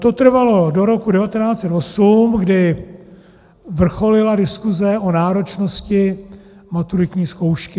To trvalo do roku 1908, kdy vrcholila diskuse o náročnosti maturitní zkoušky.